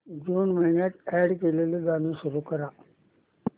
जून महिन्यात अॅड केलेली गाणी सुरू कर